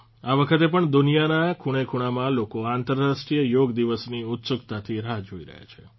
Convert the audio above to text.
આ વખતે પણ દુનિયાના ખૂણેખૂણામાં લોકો આંતરરાષ્ટ્રીય યોગ દિવસની ઉત્સુકતાથી રાહ જોઇ રહ્યા છે